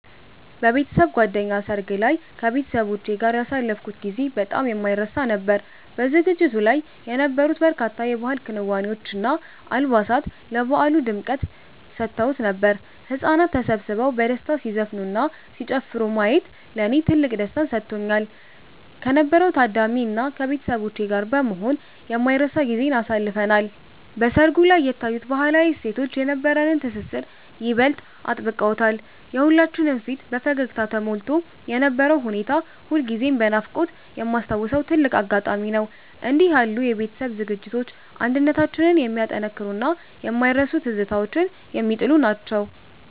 በቤተሰብ ጓደኛ ሰርግ ላይ ከቤተሰቦቼ ጋር ያሳለፍኩት ጊዜ በጣም የማይረሳ ነበር። በዝግጅቱ ላይ የነበሩት በርካታ የባህል ክዋኔዎች እና አልባሳት ለበዓሉ ልዩ ድምቀት ሰጥተውት ነበር። ህጻናት ተሰብስበው በደስታ ሲዘፍኑና ሲጨፍሩ ማየት ለኔ ትልቅ ደስታን ሰጥቶኛል። ከነበረው ታዳሚ እና ከቤተሰቦቼ ጋር በመሆን የማይረሳ ጊዜን አሳልፈናል። በሰርጉ ላይ የታዩት ባህላዊ እሴቶች የነበረንን ትስስር ይበልጥ አጥብቀውታል። የሁላችንም ፊት በፈገግታ ተሞልቶ የነበረው ሁኔታ ሁልጊዜም በናፍቆት የማስታውሰው ትልቅ አጋጣሚ ነው። እንዲህ ያሉ የቤተሰብ ዝግጅቶች አንድነታችንን የሚያጠናክሩና የማይረሱ ትዝታዎችን የሚጥሉ ናቸው።